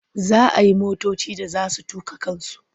Za a yi motoci da za su tuƙa kansu.